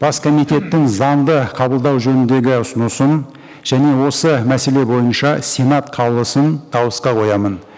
бас комитеттің заңды қабылдау жөніндегі ұсынысын және осы мәселе бойынша сенат қаулысын дауысқа қоямын